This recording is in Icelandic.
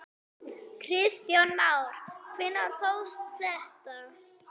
Kristján Már: Hvenær hófst þetta?